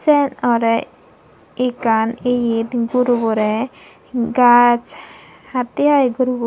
sex orey ekan yet guruborey gaas hattey i gurubo.